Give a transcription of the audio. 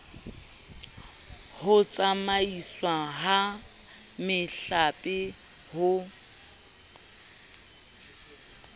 ho tsamaiswa ha mehlape ho